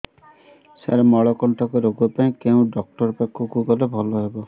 ସାର ମଳକଣ୍ଟକ ରୋଗ ପାଇଁ କେଉଁ ଡକ୍ଟର ପାଖକୁ ଗଲେ ଭଲ ହେବ